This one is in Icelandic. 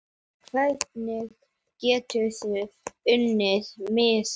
Hvernig geturðu unnið miða?